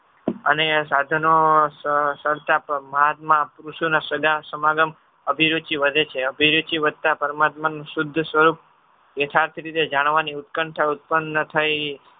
અને સાધનો મહાત્મા પુરુષોના સદાસમાગમ અભિવૃચિ વધે છે. અભિવૃદ્ધિ વધતા પરમાત્માનું શુદ્ધ સ્વરૂપ યથાર્થ રીતે જાણવાની ઉત્કંઠ ઉત્પન્ન થઈ